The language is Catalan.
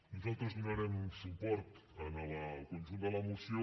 nosaltres donarem suport al conjunt de la moció